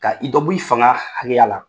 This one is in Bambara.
Ka i dɔ b' i fanga hakɛya la!